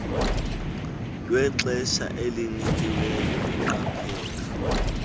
lwexesha elinikiweyo iqaphela